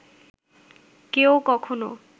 কেউ কখনো